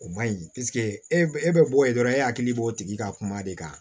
O man ɲi e bɛ bɔ yen dɔrɔn e hakili b'o tigi ka kuma de kan